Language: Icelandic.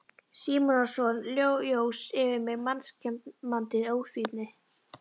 Símonarson jós yfir mig mannskemmandi ósvífni.